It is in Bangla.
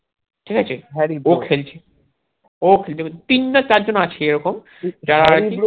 ঠিক আছে হ্যারি ও খেলছে তিন না চার জন্ আছে এরকম